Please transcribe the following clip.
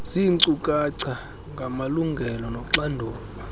ziinkcukacha ngamalungelo noxanduva